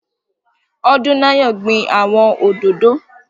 Odúnayọ̀ gbin àwọn òdòdó